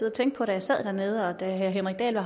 at tænke på da jeg sad dernede og da herre henrik dahl